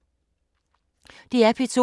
DR P2